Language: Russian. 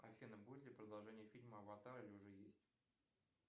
афина будет ли продолжение фильма аватар или уже есть